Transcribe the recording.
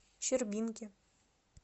щербинке